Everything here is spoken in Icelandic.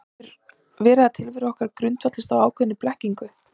Getur verið að tilvera okkar grundvallist á ákveðinni blekkingu?